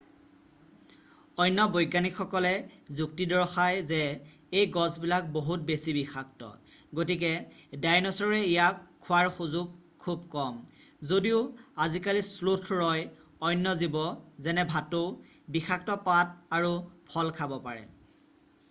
অন্য বৈজ্ঞানিকসকলে যুক্তি দৰ্শাই যে এই গছবিলাক বহুত বেছি বিষাক্ত গতিকে ডাইনছৰে ইয়াক খোৱাৰ সুযোগ খুব কম যদিও আজিকালিৰ শ্লোথ ৰয় অন্য জীৱে যেনে ভাটৌ ডাইনছৰৰ বংশধৰ বিষাক্ত পাত আৰু ফল খাব পাৰে।